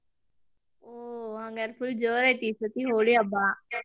ಹೋ ಹಂಗಾರ್ full ಜೋರ್ ಐತಿ ಈ ಸತಿ ಹೋಳಿ ಹಬ್ಬಾ?